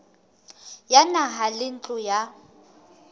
ya naha le ntlo ya